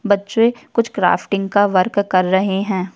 बच्चे कुछ क्राफ्टिंग का वर्क कर रहे हैं।